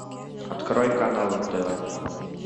открой канал нтв